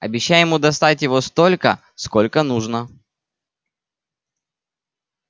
обещай ему достать его столько сколько нужно